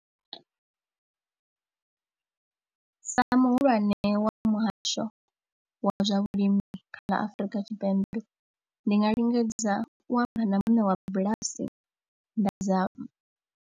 Sa muhulwane wa muhasho wa zwa vhulimi kha ḽa Afrika Tshipembe ndi nga lingedza u amba na muṋe wa bulasi nda zama.